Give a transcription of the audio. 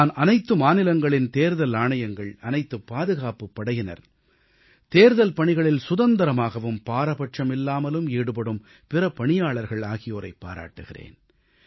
நான் அனைத்து மாநிலங்களின் தேர்தல் ஆணையங்கள் அனைத்துப் பாதுகாப்புப் படையினர் தேர்தல் பணிகளில் சுதந்திரமாகவும் பாரபட்சமில்லாமலும் ஈடுபடும் பிற பணியாளர்கள் ஆகியோரைப் பாராட்டுகிறேன்